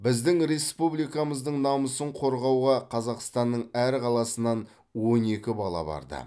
біздің республикамыздың намысын қорғауға қазақстанның әр қаласынан он екі бала барды